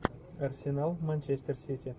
арсенал манчестер сити